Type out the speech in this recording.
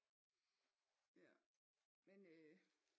Ja men øh